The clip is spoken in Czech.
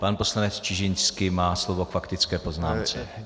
Pan poslanec Čižinský má slovo k faktické poznámce.